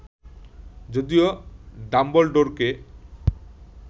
যদিও ডাম্বলডোরকে